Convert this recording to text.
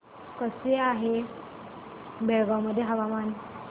कसे आहे बेळगाव मध्ये हवामान